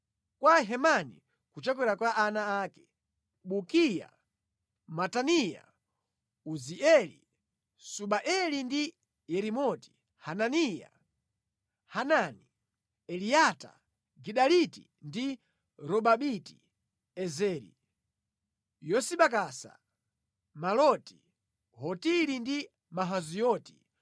Kwa Hemani, kuchokera kwa ana ake: Bukiya, Mataniya, Uzieli, Subaeli ndi Yerimoti; Hananiya, Hanani, Eliata, Gidaliti ndi Romamiti-Ezeri; Yosibakasa, Maloti, Hotiri ndi Mahazioti.